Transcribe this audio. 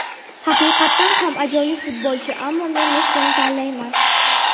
Haqiqatan ham ajoyib futbolchi, ammo men Messini tanlayman.